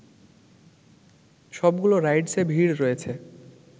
সবগুলো রাইডসে ভিড় রয়েছে